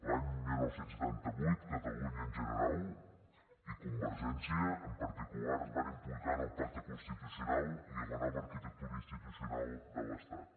l’any dinou setanta vuit catalunya en general i convergència en particular es van implicar en el pacte constitucional i la nova arquitectura institucional de l’estat